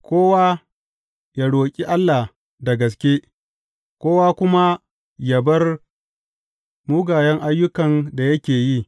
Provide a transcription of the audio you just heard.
Kowa yă roƙi Allah da gaske, kowa kuma yă bar mugayen ayyukan da yake yi.